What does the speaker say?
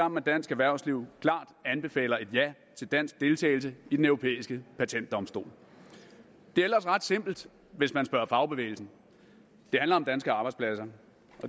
med dansk erhvervsliv klart anbefaler et ja til dansk deltagelse i den europæiske patentdomstol det er ellers ret simpelt hvis man spørger fagbevægelsen det handler om danske arbejdspladser